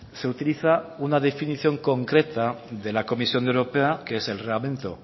se utiliza una definición concreta de la comisión europea que es el reglamento